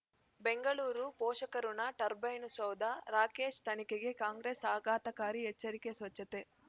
ಬೆಂಗಳೂರು ಪೋಷಕರಋಣ ಟರ್ಬೈನು ಸೌಧ ರಾಕೇಶ್ ತನಿಖೆಗೆ ಕಾಂಗ್ರೆಸ್ ಆಘಾತಕಾರಿ ಎಚ್ಚರಿಕೆ ಸ್ವಚ್ಛತೆ